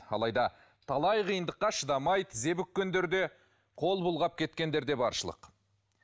алайда талай қиындыққа шыдамай тізе бүккендер де қол бұлғап кеткендер де баршылық